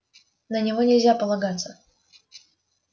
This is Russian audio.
на него нельзя полагаться